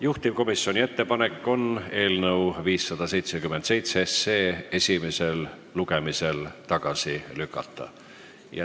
Juhtivkomisjoni ettepanek on eelnõu 577 esimesel lugemisel tagasi lükata.